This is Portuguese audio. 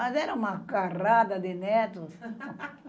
Mas era uma carrada de netos.